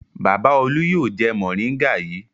Bàbá Olú yóò jẹ mòríngà yìí.